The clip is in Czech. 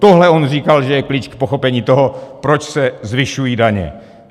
Tohle on říkal, že je klíč k pochopení toho, proč se zvyšují daně.